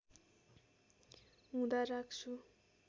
हुँदा राख्छु